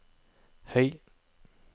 høy